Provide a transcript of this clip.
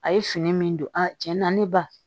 A ye fini min don a tiɲɛ na ne ba